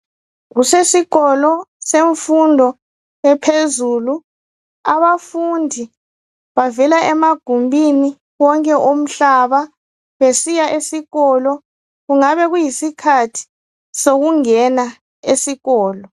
Kusesikolo semfundo ephezulu abafundi bavela emagumbini wonke omhlaba besiya esikolo kungabe sokuyisikhathi sokungena esikolo.